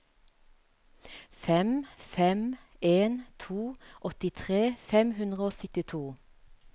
fem fem en to åttitre fem hundre og syttito